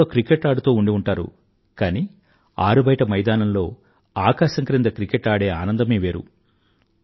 computer లో cricket ఆడుతూ ఉండి ఉంటారు కానీ ఆరుబయట మైదానంలో ఆకాశం క్రింద క్రికెట్ ఆడే ఆనందమే వేరు